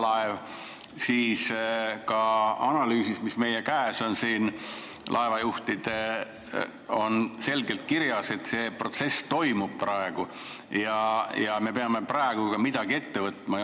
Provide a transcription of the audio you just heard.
Ka laevajuhtide liidu analüüsis, mis on siin meie käes, on selgelt kirjas, et see protsess toimub ka praegu ja me peame midagi ette võtma.